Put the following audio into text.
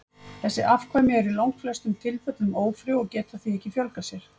þessi afkvæmi eru í langflestum tilfellum ófrjó og geta því ekki fjölgað sér